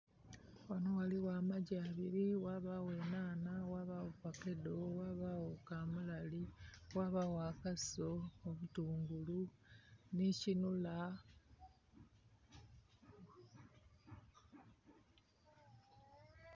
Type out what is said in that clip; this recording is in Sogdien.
Ghanho ghaligho amaggi abiri, ghabaagho nhanha, ghabaagho fakedho, ghabaagho kamulali, ghabaagho akaso, obutungulu nhikinhula.